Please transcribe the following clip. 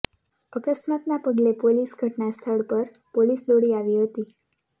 અકસ્માતના પગલે પોલીસ ઘટના સ્થળ પર પોલીસ દોડી આવી હતી